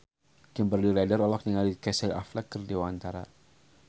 Kimberly Ryder olohok ningali Casey Affleck keur diwawancara